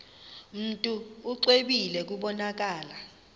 mntu exwebile kubonakala